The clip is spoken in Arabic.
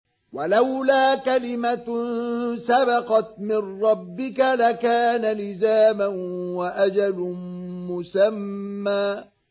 وَلَوْلَا كَلِمَةٌ سَبَقَتْ مِن رَّبِّكَ لَكَانَ لِزَامًا وَأَجَلٌ مُّسَمًّى